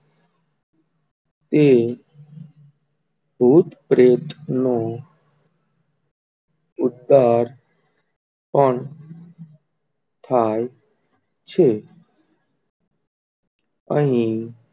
તે ભૂત પ્રેત નો ઉદ્ધાર પણ થાય છે? અહી તે,